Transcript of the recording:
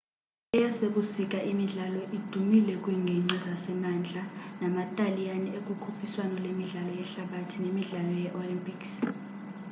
eyasebusika imidlalo idumile kwiinginqgi zasemantla nama-taliyani ekukhuphiswano lemidlalo yehlabathi nemidlalo yee-olympics